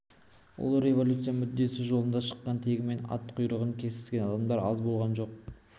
ұлы революция мүддесі жолында шыққан тегімен ат құйрығын кесіскен адамдар аз болған жоқ